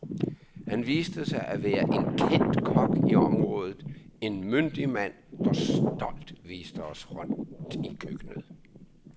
Han viste sig at være en kendt kok i området, en myndig mand, der stolt viste os rundt i køkkenet.